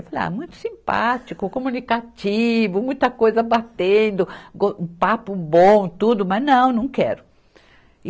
Eu falei, ah, muito simpático, comunicativo, muita coisa batendo, go, papo bom, tudo, mas não, não quero.